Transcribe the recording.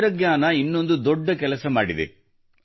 ತಂತ್ರಜ್ಞಾನವು ಇನ್ನೊಂದು ದೊಡ್ಡ ಕೆಲಸ ಮಾಡಿದೆ